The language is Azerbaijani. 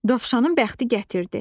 Dovşanın bəxti gətirdi.